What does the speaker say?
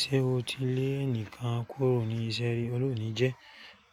Ṣé o ti lé ẹnìkan kúrò ní iṣẹ́ rí? Ọlọ́run ò ní jẹ́.